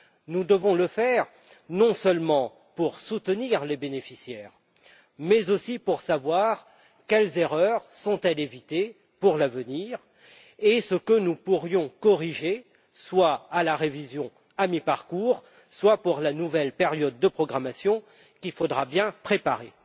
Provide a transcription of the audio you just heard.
Nous devons le faire non seulement pour soutenir les bénéficiaires, mais aussi pour savoir quelles erreurs il faut éviter à l'avenir et ce que nous pourrions corriger soit lors de la révision à mi parcours, soit pour la nouvelle période de programmation qu'il faudra bien préparer.